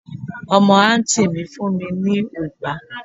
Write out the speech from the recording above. omo anti mi fún mi ni ugbà